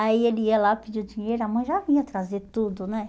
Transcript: Aí ele ia lá pedir o dinheiro, a mãe já vinha trazer tudo, né?